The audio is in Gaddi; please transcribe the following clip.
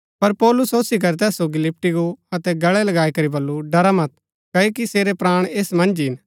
पर पौलुस ओसी करी तैस सोगी लिपटी गो अतै गळै लगाई करी बल्लू ड़रा मत क्ओकि सेरै प्राण ऐस मन्ज ही हिन